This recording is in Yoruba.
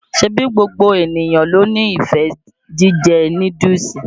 Ṣẹ̀bí gbogbo enìyàn ló nífẹ̀ẹ́ jíjẹ́ núdúùsù?